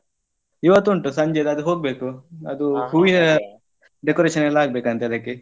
ಇವತ್ತೂಂಟು ಸಂಜೆದ್ ಅದು ಹೋಗ್ಬೇಕು ಅದು ಹೂವಿನ decoration ಎಲ್ಲ ಆಗ್ಬೇಕಂತೆ ಅದಕ್ಕೆ.